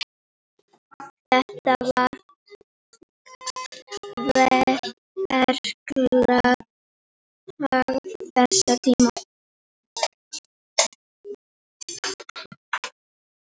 Þetta var verklag þess tíma.